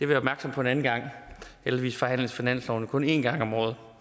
være opmærksom på en anden gang heldigvis forhandles finansloven jo kun en gang om året